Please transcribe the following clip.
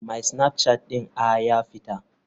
My snapchat ɗin a ya fita.